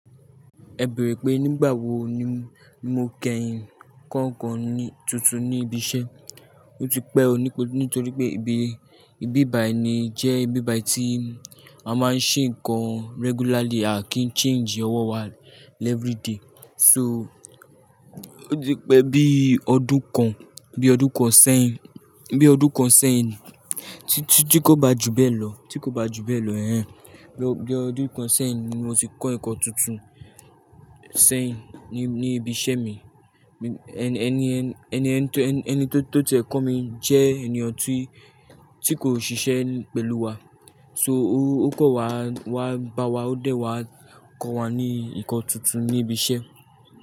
Ẹ beẹ̀rẹ̀ pé nígbà wo ni mo kẹ́yin kọ́ ǹkan tuntun ní ibi iṣẹ́? Ó ti pẹ́ o, nítorí pé ìbí- ìbíbai ni jẹ́ ìbíbai tí a máa ń ṣe ǹkan regularly à kí ń change ọwọ́ wa every day. So ó ti pẹ́ bí ọdún kan, bí ọdún kan sẹ́yìn, bí ọdún kan sẹ́yìn tí kò bá ju bẹ́ẹ̀ lọ, tí kò bá ju bẹ́ẹ̀ lọ, ẹhn. Bí ọdún kan sẹ́yìn ni mo ti kọ́ ǹkan tuntun sẹ́yìn ní, ní ibi iṣẹ́ mi. Eni- ẹniyẹn- ẹniyẹn tí, ẹni to ti ẹ kó mi jẹ́ ènìyàn tí, tí kò ṣiṣẹ́ pẹ̀lú wa. So ó kan wa, wá bá wa, ó dẹ̀ wá kọ́ wa ní ǹkan tuntun ní ibi iṣẹ́.